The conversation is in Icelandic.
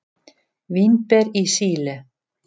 Vínber í Síle.